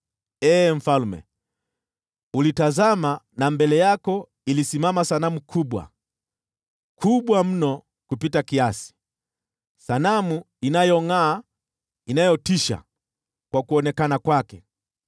“Ee mfalme, ulitazama, na mbele yako ilisimama sanamu kubwa, kubwa mno kupita kiasi, sanamu iliyongʼaa na kutisha kwa kuonekana kwake.